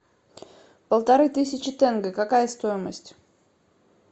полторы тысячи тенге какая стоимость